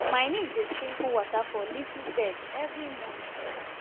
my niece dey sprinkle water for leafy veg every morning